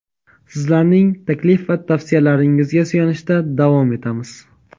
sizlarning taklif va tavsiyalaringizga suyanishda davom etamiz.